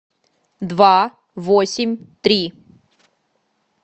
два восемь три